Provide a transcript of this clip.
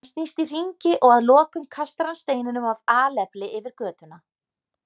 Hann snýst í hringi og að lokum kastar hann steininum af alefli yfir götuna.